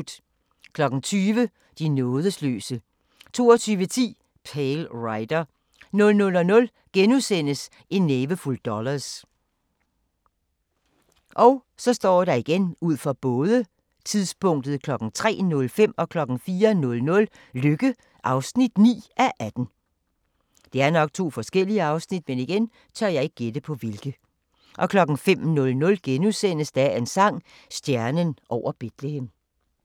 20:00: De nådesløse 22:10: Pale Rider 00:00: En nævefuld dollars * 03:05: Lykke (9:18)* 04:00: Lykke (9:18)* 05:00: Dagens sang: Stjernen over Betlehem *